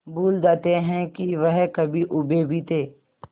भूल जाते हैं कि वह कभी ऊबे भी थे